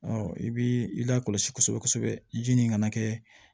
i bi i lakɔlɔsi kosɛbɛ kosɛbɛ ji nin kana kɛ